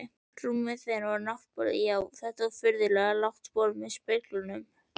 Rúmið þeirra, náttborðin, já, og þetta furðulega lágborð með speglunum.